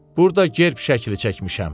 Burda gerb şəkli çəkmişəm.